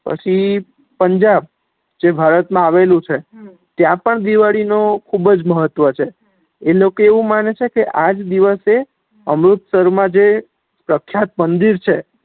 પછી પંજા જે ભારત મા આવેલું છ ત્યાં પણ દિવાળી નો ખુબજ મહત્વ છ એ લોકો એવું માને છે કે આજ દિવસે અમૃત્ષર મા જે પ્રક્ષાત મંદિર છે